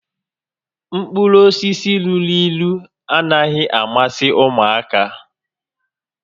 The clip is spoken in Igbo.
Mkpụrụ osisi luru ílú anaghị amasị ụmụaka